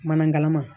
Mana ma